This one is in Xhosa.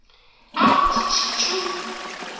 am ndithi tjhu